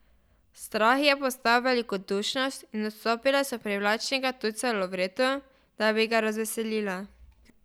Strah je postal velikodušnost in odstopile so privlačnega tujca Lovretu, da bi ga razveselile.